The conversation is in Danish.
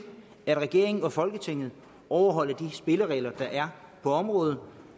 at regeringen og folketinget overholder de spilleregler der er på området